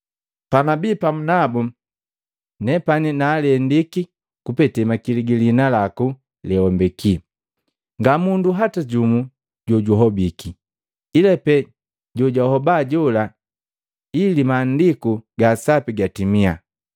Panabii pamu nabu, nepani naalendiki kupete makili giliina laku lewambeki. Nga mundu hata jumu jojuhobiki, ila pee jojahoba jola ili Maandiku gaa Sapi gatimia.